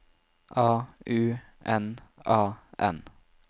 A U N A N